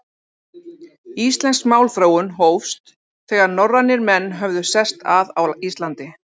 Íslensk málþróun hófst, þegar norrænir menn höfðu sest að á Íslandi.